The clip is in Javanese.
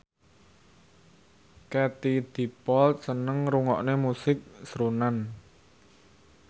Katie Dippold seneng ngrungokne musik srunen